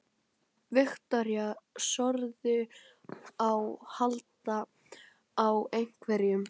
Viktoría: Þorðirðu að halda á einhverjum?